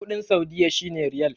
kudin saudiyya shi ne riyal